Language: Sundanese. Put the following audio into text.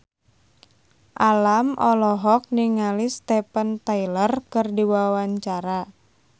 Alam olohok ningali Steven Tyler keur diwawancara